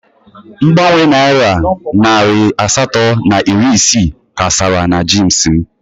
Mgbanwe Naira narị asatọ na iri isii ka sara na jeans m.